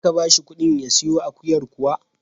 Za ka ba shi ƙuɗin ya siyo akuyar kuwa?